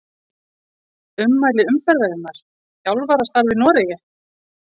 Ummæli umferðarinnar: Þjálfarastarf í Noregi?